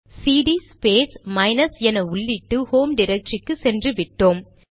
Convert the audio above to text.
CD space minus என உள்ளிட்டு home டிரக்டரிக்கு சென்று விட்டோம்